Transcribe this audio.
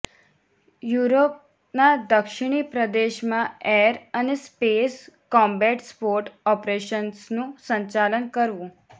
યુરોપના દક્ષિણી પ્રદેશમાં એર અને સ્પેસ કોમ્બેટ સપોર્ટ ઓપરેશન્સનું સંચાલન કરવું